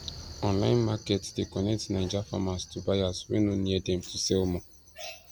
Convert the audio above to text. online markets dey connect naija farmers to buyers wey no near dem to sell more